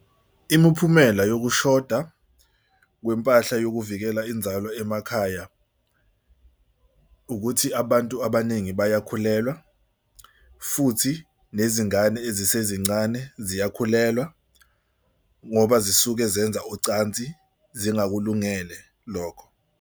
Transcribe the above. Imiphumela yokushoda kwempahla yokuvikela inzalo emakhaya ukuthi abantu abaningi bayakhulelwa futhi nezingane ezisasezincane ziyakhulelwa ngoba zisuke zenza ucansi zingakulungele lokho.